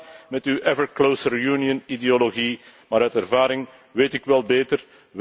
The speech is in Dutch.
U doet maar met uw ever closer Union ideologie, maar uit ervaring weet ik wel beter.